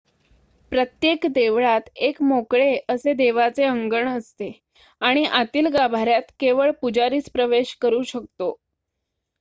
प्रत्येक देवळात एक मोकळे असे देवळाचे अंगण असते आणि आतील गाभाऱ्यात केवळ पुजारीच प्रवेश करू शकतो